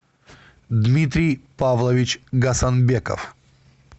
дмитрий павлович гасанбеков